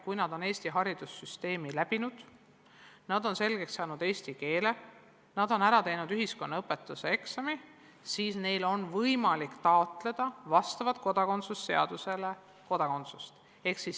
Kui lapsed on Eestis põhihariduse omandanud, selgeks saanud eesti keele ja ära teinud ühiskonnaõpetuse eksami, siis neil on võimalik vastavalt kodakondsuse seadusele Eesti kodakondsust taotleda.